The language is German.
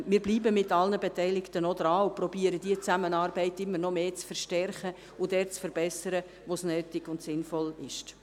Wir bleiben mit allen Beteiligten dran und versuchen, diese Zusammenarbeit immer noch mehr zu verstärken und dort zu verbessern, wo es nötig und sinnvoll ist.